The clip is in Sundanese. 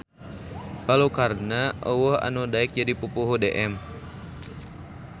Balukarna euweuh anu daek jadi Pupuhu DM